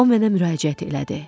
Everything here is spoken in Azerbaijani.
O mənə müraciət elədi.